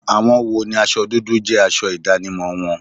Àwọn wo ni aṣọ dúdú jẹ́ aṣọ ìdánimọ̀ wọn?